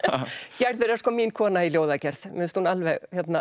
gerður er sko mín kona í ljóðagerð mér finnst hún alveg